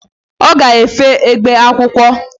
Ọ ga-efe egbe akwụkwọ.